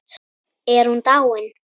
Er hún dáin?